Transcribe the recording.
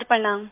सिर प्रणाम